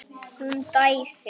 Hún dæsir.